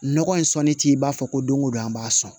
Nɔgɔ in sɔnni t'i b'a fɔ ko don o don an b'a sɔn